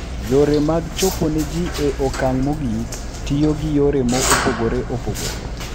Yore mag chopo ne ji e okang' mogik tiyo gi yore mopogore opogore.